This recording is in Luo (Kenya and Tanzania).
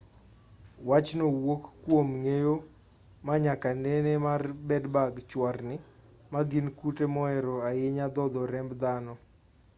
wachno wuok kwom ng'eyo ma nyaka nene mar bed-bug chwarni ma gin kute mohero ahinya dhodho remb dhano